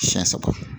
Siɲɛ saba